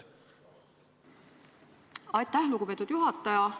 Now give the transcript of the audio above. Aitäh, lugupeetud juhataja!